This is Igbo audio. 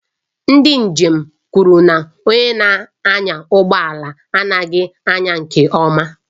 Ndị njem kwuru na onye na-anya ụgbọ ala anaghị anya nke ọma